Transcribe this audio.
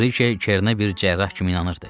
Brije Çernə bir cərrah kimi inanırdı.